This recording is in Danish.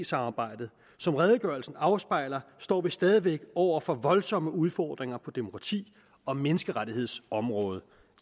samarbejdet som redegørelsen afspejler står vi stadig væk over for voldsomme udfordringer på demokrati og menneskerettighedsområdet